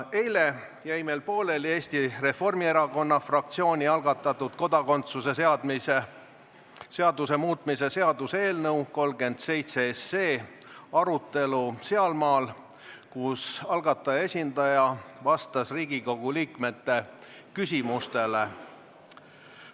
Eile jäi meil pooleli Eesti Reformierakonna fraktsiooni algatatud kodakondsuse seaduse muutmise seaduse eelnõu 37 arutelu, kus algataja esindaja vastas Riigikogu liikmete küsimustele.